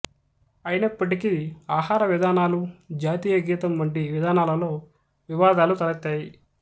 అయినప్పటికీ ఆహార విధానాలు జాతీయగీతం వంటి విధానాలలో వివాదాలు తలెత్తాయి